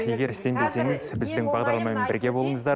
егер сенбесеңіз біздің бағдарламамен бірге болыңыздар